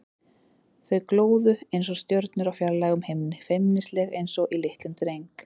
Þau glóðu einsog stjörnur á fjarlægum himni, feimnisleg einsog í litlum dreng.